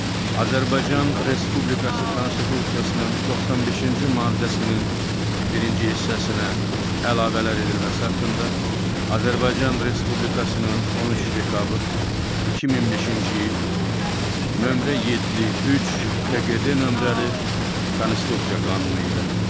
Azərbaycan Respublikası Konstitusiyasının 95-ci maddəsinin birinci hissəsinə əlavələr edilməsi haqqında Azərbaycan Respublikasının 13 dekabr 2005-ci il № 73-KQDD nömrəli Konstitusiya qanunu ilə.